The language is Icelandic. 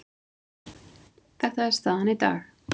Þetta er staðan í dag.